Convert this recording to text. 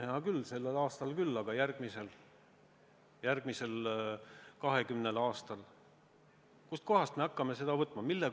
Hea küll, sellel aastal tõesti, aga kust me järgmisel 20 aastal hakkame seda võtma?